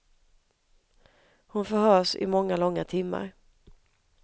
Hon förhörs i många långa timmar.